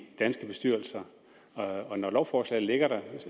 danske bestyrelser og når lovforslaget ligger der